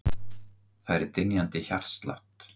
Fær dynjandi hjartslátt.